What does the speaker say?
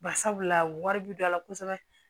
Bari sabula wari bi dɔ la kosɛbɛ